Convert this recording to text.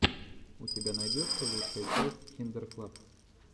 у тебя найдется лучшая часть киндер клаб